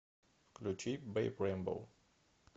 включи бэйб рэйнбоу